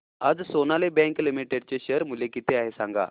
आज Sonali bank limited चे share मूल्य किती आहे सांगा